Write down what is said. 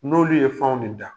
N'olu ye fɛn de da